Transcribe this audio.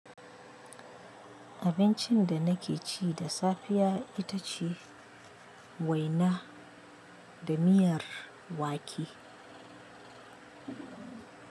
Abincin da na ke ci da safiya ita ce waina da miyar wake.